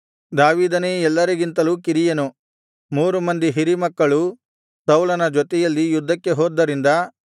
ದಾವೀದನೇ ಎಲ್ಲರಿಗಿಂತಲೂ ಕಿರಿಯನು ಮೂರು ಮಂದಿ ಹಿರಿ ಮಕ್ಕಳು ಸೌಲನ ಜೊತೆಯಲ್ಲಿ ಯುದ್ಧಕ್ಕೆ ಹೋದ್ದರಿಂದ